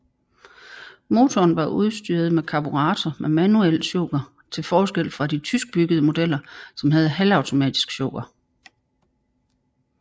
Motoren var udstyret med karburator med manuel choker til forskel fra de tyskbyggede modeller som havde automatisk choker